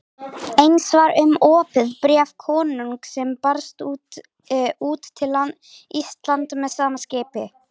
Eins var um opið bréf konungs sem barst út til Íslands með sama skipi.